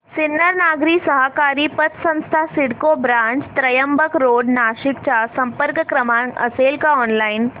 सिन्नर नागरी सहकारी पतसंस्था CIDCO branch Trimbak road Nashik चा संपर्क क्रमांक असेल का ऑनलाइन